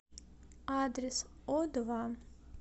адрес одва